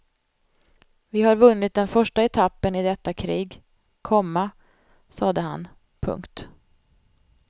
Vi har vunnit den första etappen i detta krig, komma sade han. punkt